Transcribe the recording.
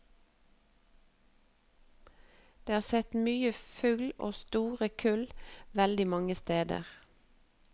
Det er sett mye fugl og store kull veldig mange steder.